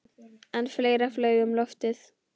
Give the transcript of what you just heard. En fleira flaug um loftið.